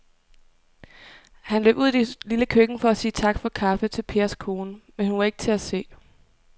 Han løb ud i det lille køkken for at sige tak for kaffe til Pers kone, men hun var ikke til at se.